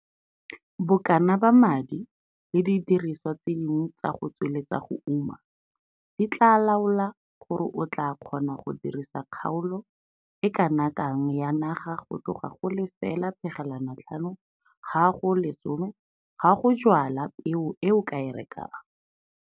Bokana ba madi le didirisiwa tse dingwe tsa go tsweletsa go uma di tlaa laola gore o tlaa kgona go dirisa kgaolo e kana kang ya naga go tloga 0,5 ha go 10 ha go jwala peo e o ka e rekang.